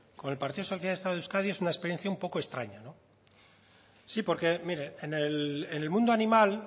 con el partido socialista de euskadi es una experiencia un poco extraña no sí porque mire en el mundo animal